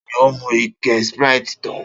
Ta ni ó mu ike Sprite tán?